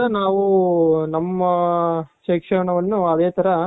ಅದೇ ತರ ನಾವು ನಮ್ಮ ಶಿಕ್ಷಣವನ್ನು ಅದೇ ತರ